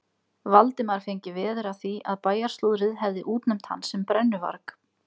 Valdimar fengi veður af því að bæjarslúðrið hefði útnefnt hann sem brennuvarg.